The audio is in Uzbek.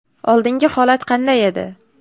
Oldingi holat qanday edi?